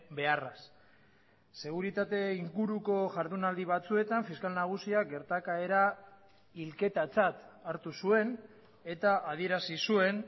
beharraz seguritate inguruko jardunaldi batzuetan fiskal nagusiak gertakaera hilketatzat hartu zuen eta adierazi zuen